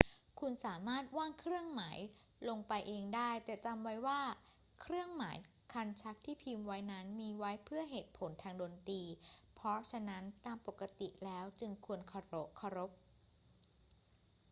คุณสามารถวาดเครื่องหมายลงไปเองได้ แต่จำไว้ว่าเครื่องหมายคันชักที่พิมพ์ไว้นั้นมีไว้เพื่อเหตุผลทางดนตรี เพราะฉะนั้นตามปกติแล้วจึงควรเคารพ